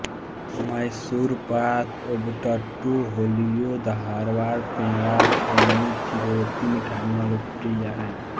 मैसूर पाक ओब्बट्टू होलिगे धारवाड़ पेड़ा फेनी चिरोती मिठाईयाँ लोकप्रिय हैं